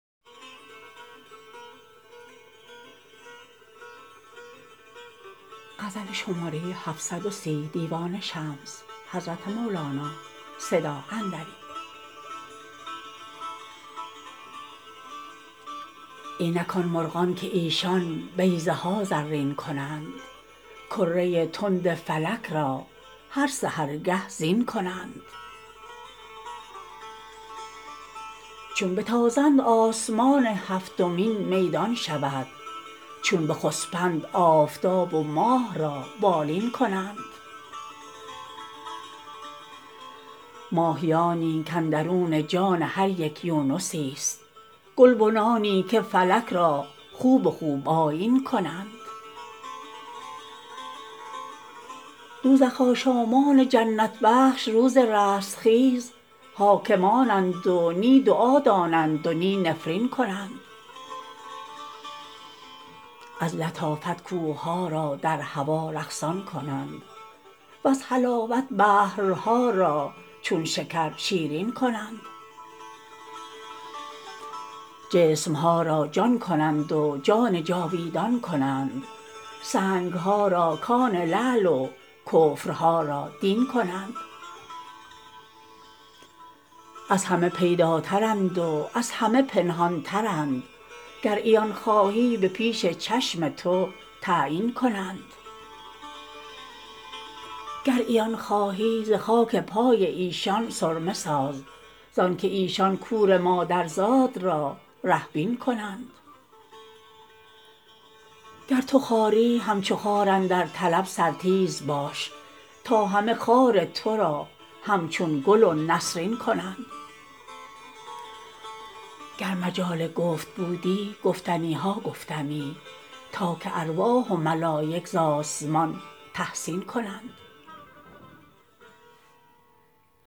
اینک آن مرغان که ایشان بیضه ها زرین کنند کره تند فلک را هر سحرگه زین کنند چون بتازند آسمان هفتمین میدان شود چون بخسپند آفتاب و ماه را بالین کنند ماهیانی کاندرون جان هر یک یونسیست گلبنانی که فلک را خوب و خوب آیین کنند دوزخ آشامان جنت بخش روز رستخیز حاکمند و نی دعا دانند و نه نفرین کنند از لطافت کوه ها را در هوا رقصان کنند وز حلاوت بحرها را چون شکر شیرین کنند جسم ها را جان کنند و جان جاویدان کنند سنگ ها را کان لعل و کفرها را دین کنند از همه پیداترند و از همه پنهان ترند گر عیان خواهی به پیش چشم تو تعیین کنند گر عیان خواهی ز خاک پای ایشان سرمه ساز زانک ایشان کور مادرزاد را ره بین کنند گر تو خاری همچو خار اندر طلب سرتیز باش تا همه خار تو را همچون گل و نسرین کنند گر مجال گفت بودی گفتنی ها گفتمی تا که ارواح و ملایک ز آسمان تحسین کنند